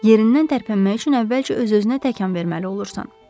Yerindən tərpənmək üçün əvvəlcə öz-özünə təkan verməli olursan.